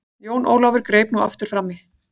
Jón Ólafur greip nú aftur framí.